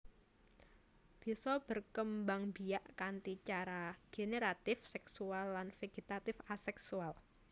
Bisa berkembangbiak kanthi cara generatif seksual lan vegetatif aseksual